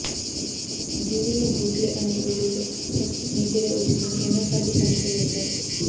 Google లో గూట్లే అని వెతికితే ఫస్ట్ నీ పేరే వచ్చిందని ఎన్నో సార్లు పంచ్ లు వేశారు